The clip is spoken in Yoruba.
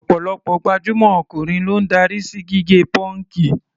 Ọ̀pọ̀lọpọ̀ gbajúmọ̀ ọkùnrin ló ń darí sí gígẹ pọ́ǹkì.